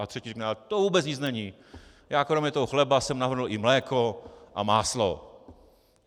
A třetí řekne: To vůbec nic není, já kromě toho chleba jsem navrhl i mléko a máslo...